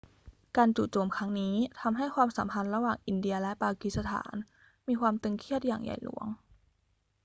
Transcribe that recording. การจู่โจมครั้งนี้ทำให้ความสัมพันธ์ระหว่างอินเดียและปากีสถานมีความตึงเครียดอย่างใหญ่หลวง